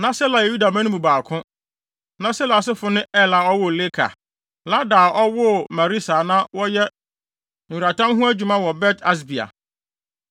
Na Sela yɛ Yuda mma no mu baako. Na Sela asefo no ne Er a ɔwoo Leka, Lada a ɔwoo Maresa a na wɔyɛ nweratam ho adwuma wɔ Bet-Asbea,